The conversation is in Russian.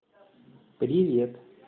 привет